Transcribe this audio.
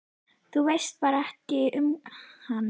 Þú veist bara ekkert um hann?